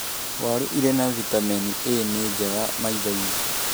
Waru ĩrĩ na vitamini A na nĩ njega maitho-inĩ.